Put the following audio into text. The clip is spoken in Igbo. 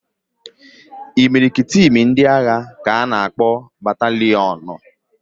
Imirikiti imi ndị agha ka a na-akpọ bataliọnụ